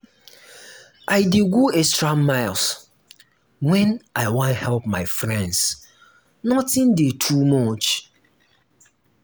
i dey go extra miles wen i wan help my friends notin dey too much.